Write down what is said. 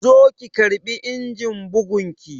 Zo ki karɓi injin bugun ki!